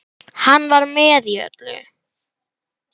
Hann var með í öllu.